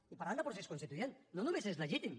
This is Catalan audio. i parlant de procés constituent no només és legítim